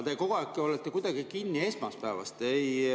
Te kogu aeg olete kuidagi kinni esmaspäevas.